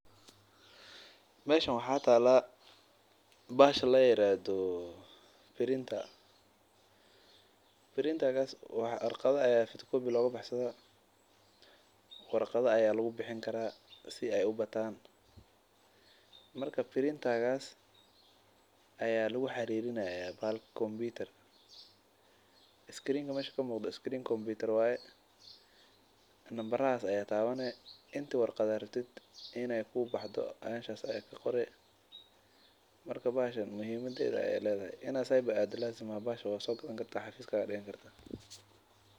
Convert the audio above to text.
Meeshan waxaa taala bahasha warqadaha a Lagu bixiyo si aay ubatan marka bahshadas ayaa lagu xariirini haaya kompitar marka bahashan muhimadaas ayeey ledahay qasab maahan inaad meel aado waad soo gadani kartaa xafada ayaa digan kartaa.